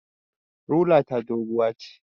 Rula ta doguwa ce